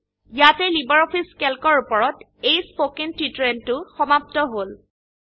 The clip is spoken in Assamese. ইয়াতেই লাইব্ৰঅফিছ ক্যালক এৰ উপৰত এই স্পোকেন টিউটোৰিযেলটো সমাপ্ত হল